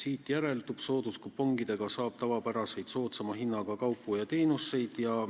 Siit järeldub: sooduskupongidega saab tavapäraseid, soodsama hinnaga kaupu ja teenuseid.